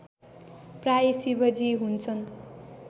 प्रायः शिवजी हुन्छन्